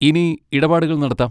ഇനി ഇടപാടുകൾ നടത്താം.